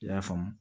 I y'a faamu